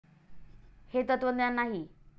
हे तत्त्वज्ञान नाही.